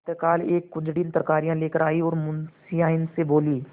प्रातःकाल एक कुंजड़िन तरकारियॉँ लेकर आयी और मुंशियाइन से बोली